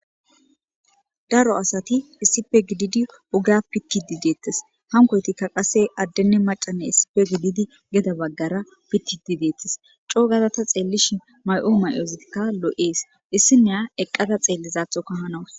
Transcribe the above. daro asati issipe gididi oga pikidi deettes hankoytikka qase addene macane issipe gididi geda baggara pikidi deettis coogaza ta xeellishi may7o may7oozikka loo7ees issineya eqqada xeellizaathoka hanawu